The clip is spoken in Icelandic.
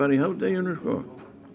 í hádeginu sko